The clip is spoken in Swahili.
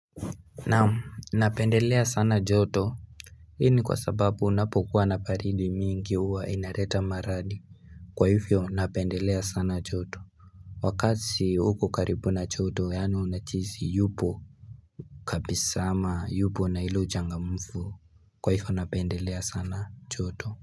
Naam napendelea sana joto Hii ni kwa sababu kunapokuwa na baridi mingi huwa inaleta maradhi. Kwa hivyo napendelea sana joto. Wakati uko karibu na joto yaani unajihisi yupo kabisa ama yupo na ile uchangamfu Kwa hivyo napendelea sana joto.